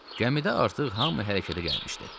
Gəmidə artıq hamı hərəkətə gəlmişdi.